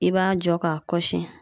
I b'a jɔ k'a kɔsi